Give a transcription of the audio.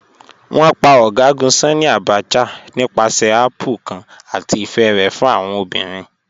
Wọn pà General Sanni Abacha nípàsẹ̀ àpplè̩̩̩̩ kan àti ifẹ̀ rẹ̀ fún awọn obìrín